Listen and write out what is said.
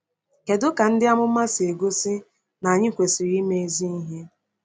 Kedu ka “ndị amụma” si gosi na anyị kwesịrị ime ezi ihe?